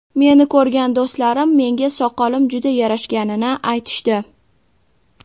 Meni ko‘rgan do‘stlarim menga soqolim juda yarashganini aytishdi.